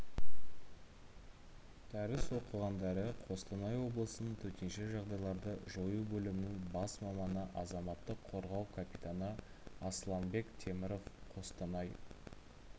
дәріс оқығандары қостанай облысының төтенше жағдайларды жою бөлімінің бас маманы азаматтық қорғау капитаны асланбек теміров қостанай